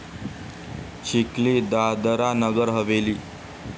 Chikhli, Dadra Nagar Haveli